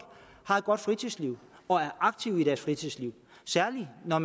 har et godt fritidsliv og er aktive i deres fritidsliv særlig når